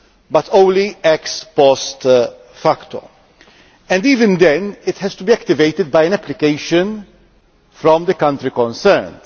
it can only be used ex post facto, and even then it has to be activated by an application from the country concerned.